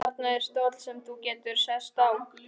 Þarna er stóll sem þú getur sest á.